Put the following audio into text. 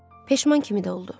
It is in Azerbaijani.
Peşman kimi də oldu.